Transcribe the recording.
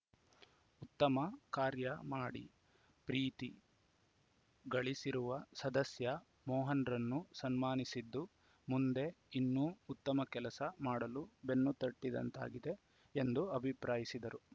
ಉತ್ತಮ ಕಾರ್ಯ ಮಾಡಿ ಪ್ರೀತಿ ಗಳಿಸಿರುವ ಸದಸ್ಯ ಮೋಹನ್‌ರನ್ನು ಸನ್ಮಾನಿಸಿದ್ದು ಮುಂದೆ ಇನ್ನೂ ಉತ್ತಮ ಕೆಲಸ ಮಾಡಲು ಬೆನ್ನು ತಟ್ಟಿದಂತಾಗಿದೆ ಎಂದು ಅಭಿಪ್ರಾಯಿಸಿದರು